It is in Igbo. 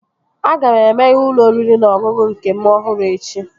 Aga m emeghe ụlọ oriri na ọṅụṅụ m nke ọhụrụ echi